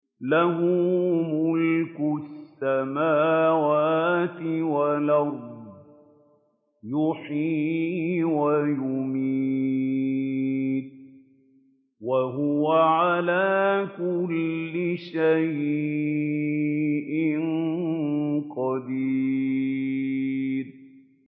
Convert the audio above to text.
لَهُ مُلْكُ السَّمَاوَاتِ وَالْأَرْضِ ۖ يُحْيِي وَيُمِيتُ ۖ وَهُوَ عَلَىٰ كُلِّ شَيْءٍ قَدِيرٌ